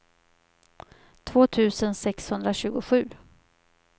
två tusen sexhundratjugosju